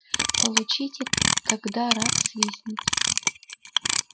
получите тогда рак свистнет